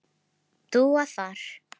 Dúa þar.